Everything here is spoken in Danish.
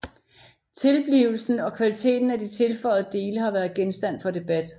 Tilblivelsen og kvaliteten af de tilføjede dele har været genstand for debat